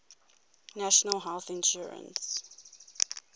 national health insurance